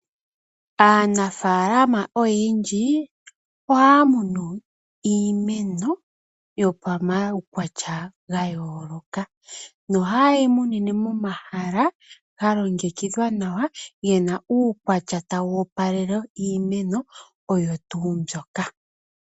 Aanafaalama oyendji ohaya munu iimeno yopamaukwatya ga yooloka, noha yeyi munine momahala ga longekidhwa nawa gena uukwatya tawu opalele iimeno oyo tuu mbyoka.